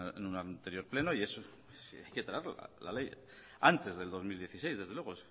en un anterior pleno y hay que traerla la ley antes del dos mil dieciséis desde luego